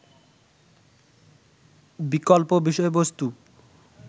বিকল্প বিষয়বস্তু